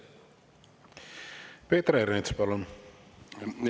Peeter Ernits, palun!